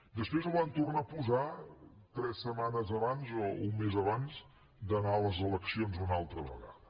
després el van tornar a posar tres setmanes abans o un mes abans d’anar a les eleccions una altra vegada